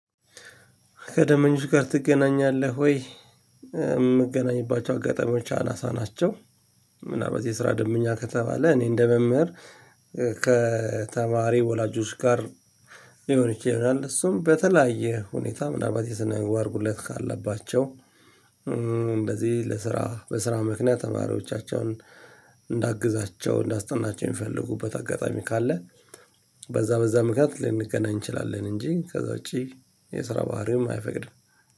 ከደንበኞች ጋር ትገናኛለህ ወይ? የምገናኝባቸው አጋጣሚዎች አናሳ ናቸው ምናምን በዚህ ስራ ደንበኛ ከተባለ እኔ እንደ መምህር ከተማሪ ወላጆች ጋር የሆነች ይላል እሱም በተለያየ ሁኔታ ምናልባት የሰነገው አድርጉለት ካለባቸው እንደዚህ ለስራ በስራ ምክንያት ተማሪዎቻቸውን እንዳግዛቸው እንዳስጠናቸው የሚፈልጉበት አጋጣሚ ካለ በዛ በዛ ምክንያት ልንገናኝ እንችላለን እንጂ ከዛ ውጪ የስራ ባሕሪውም አይፈቅድም